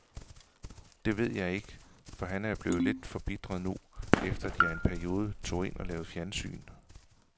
Det ved jeg ikke, for han er jo blevet lidt forbitret nu, efter at jeg i en periode tog ind og lavede fjernsyn.